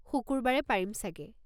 শুকুৰবাৰে পাৰিম চাগে।